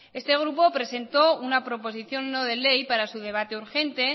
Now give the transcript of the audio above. este grupo presentó una proposición no de ley para su debate urgente